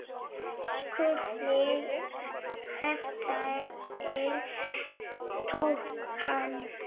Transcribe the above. SKÚLI: Hverjir tóku hann?